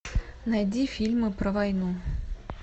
найди фильмы про войну